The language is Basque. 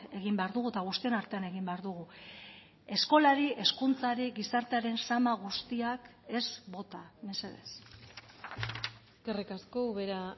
egin behar dugu eta guztion artean egin behar dugu eskolari hezkuntzari gizartearen zama guztiak ez bota mesedez eskerrik asko ubera